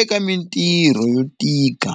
eka mintirho yo tika.